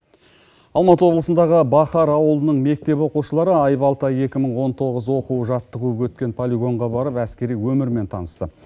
алматы облысындағы бахар ауылының мектеп оқушылары айбалта екі мың он тоғыз оқу жаттығуы өткен полигонға барып әскери өмірмен танысты